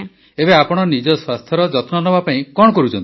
ଏବେ ଆପଣ ନିଜ ସ୍ୱାସ୍ଥ୍ୟର ଯତ୍ନ ନେବାପାଇଁ କଣ କରୁଛନ୍ତି